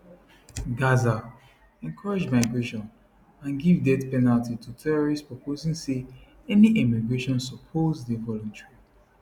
[gaza] encourage migration and give death penalty to terrorists proposing say any emigration suppose dey voluntary